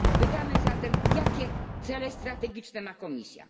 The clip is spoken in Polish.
Pytamy zatem, jakie cele strategiczne ma Komisja?